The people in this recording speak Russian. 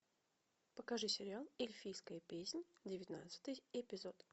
покажи сериал эльфийская песнь девятнадцатый эпизод